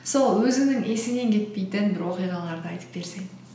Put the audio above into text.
сол өзіңнің есіңнен кетпейтін бір оқиғаларды айтып берсең